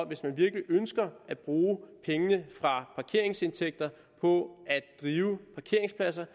hvis man virkelig ønsker at bruge pengene fra parkeringsindtægterne på at drive parkeringspladser